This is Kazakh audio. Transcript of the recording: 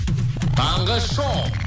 таңғы шоу